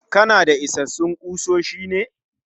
Kanada isassun kusoshi ne?